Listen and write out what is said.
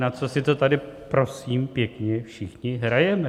Na co si to tady prosím pěkně všichni hrajeme?